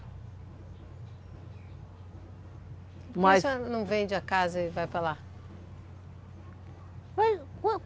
Por que a senhora não vende a casa e vai para lá?